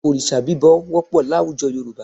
Òrìṣà bíbọ wọ́pọ̀ láwùjọ Yorùbá